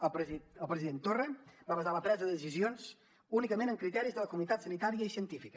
el president torra va basar la presa de decisions únicament en criteris de la comunitat sanitària i científica